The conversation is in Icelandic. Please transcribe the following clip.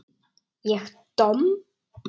Ég domm?